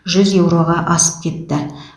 жүз еуроға асып кетті